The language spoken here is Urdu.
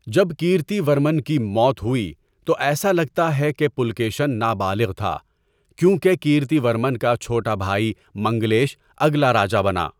جب کِرتی ورمن کی موت ہوئی تو ایسا لگتا ہے کہ پُلکیشن نابالغ تھا، کیونکہ کِرتی ورمن کا چھوٹا بھائی منگلیش اگلا راجا بنا۔